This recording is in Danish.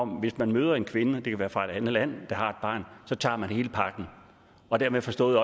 hvis man møder en kvinde det kan være fra et andet land der har et barn tager man hele pakken og dermed forstået